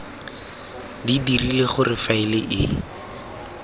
di dirile gore faele e